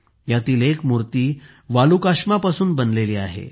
यातील एक मूर्ती वालुकाश्मापासून बनलेली आहे